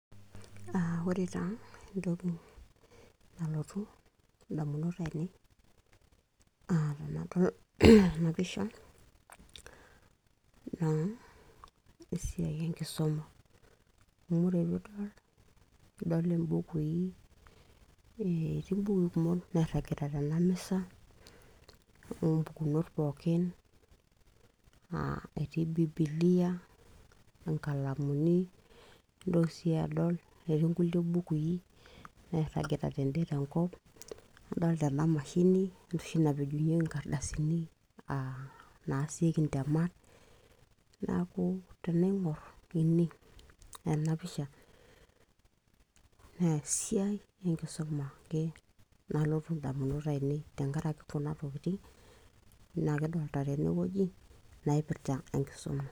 uh, ore taa entoki nalotu indamunot ainei tenadol ena pisha naa esiai enkisuma amu ore piidol, idol imbukui etii imbukui kumok nairragita tena misa ompukunot pookin uh, etii bibilia inkalamuni nintoki sii adol etii nkulie bukui nairragita tende tenkop adolta ena mashini enoshi napejunyieki inkardasini uh, naasieki intemat naku tenaing'orr ene ena pisha neesiai enkisuma ake nalotu indamunot ainei tenkarake kuna tokitin nakidolta tenewueji naipirrta enkisuma.